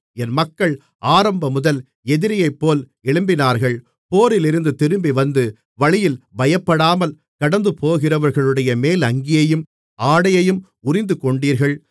என் மக்கள் ஆரம்பம்முதல் எதிரியைப்போல் எழும்பினார்கள் போரிலிருந்து திரும்பிவந்து வழியில் பயப்படாமல் கடந்துபோகிறவர்களுடைய மேலங்கியையும் ஆடையையும் உரிந்துகொண்டீர்கள்